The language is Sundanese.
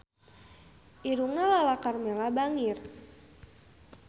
Irungna Lala Karmela bangir